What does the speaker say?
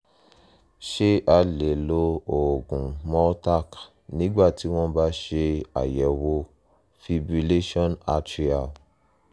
ṣé a lè lo oògùn multaq nígbà tí wọ́n bá ṣe àyẹ̀wò fibrillation atrial?